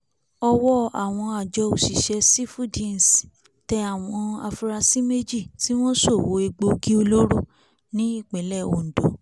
ọ̀wọ́ àwọn àjọ òṣìṣẹ́ sífúngdíẹ́ǹsì tẹ àwọn afurasí méjì tí wọ́n ṣòwò egbòogi olóró ní ìpínlẹ̀ ondo